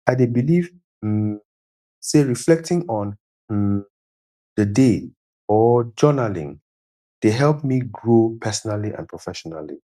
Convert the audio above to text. i dey believe um say reflecting on um the day or journaling dey help me grow personally and professionally